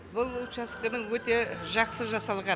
бұл учаскінің өте жақсы жасалған